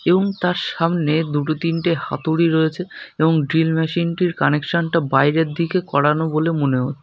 এবং তার সামনে দুটো তিনটে হাতুড়ি রয়েছে এবং ড্রিল মেশিন টির কানেকশন টা বাইরের দিকে করানো বলে মনে হ--